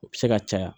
O bɛ se ka caya